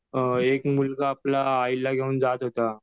एक मुलगा आपला आईला घेऊन जात होता